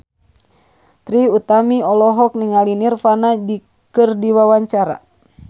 Trie Utami olohok ningali Nirvana keur diwawancara